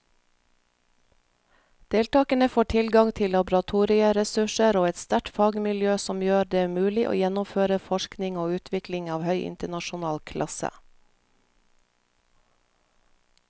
Deltakerne får tilgang til laboratorieressurser og et sterkt fagmiljø som gjør det mulig å gjennomføre forskning og utvikling av høy internasjonal klasse.